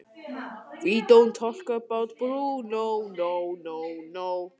Óveður þetta hefur verið kennt við fellibylinn Ellen.